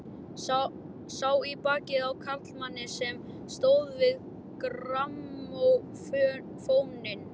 Sá í bakið á karlmanni sem stóð við grammófóninn.